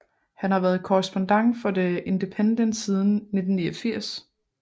Han har været korrespondent for The Independent siden 1989